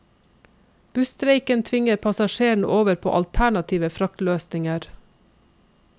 Busstreiken tvinger passasjerene over på alternative fraktløsninger.